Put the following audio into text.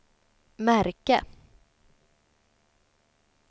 märke